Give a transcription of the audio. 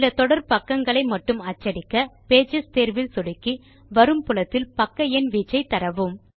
சில தொடர் பக்கங்களை மட்டும் அச்சடிக்க பேஜஸ் தேர்வில் சொடுக்கி வரும் புலத்தில் பக்க எண் வீச்சை தரவும்